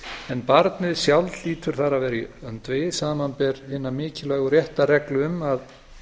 en barnið sjálft hlýtur þar að vera í öndvegi samanber hina mikilvægu réttarreglu um að